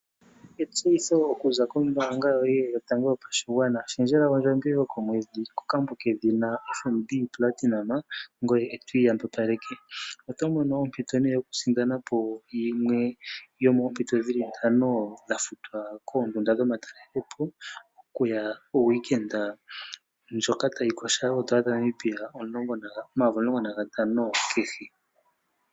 Etseyitho okuza kombaanga yoye yotango yopashigwana, shendjela ondjambi yoye yokomwedhi kokambo kedhina FNB Platinum, ngoye eto iyambapaleke. Oto mono ompito yokusindana po yimwe yomoompito dhili ntano dha futwa koondunda dhoma talele po okuya kehuliloshiwike ndjoka tayi kosha oondola dhaNamibia N$ 15000. 00 kehe.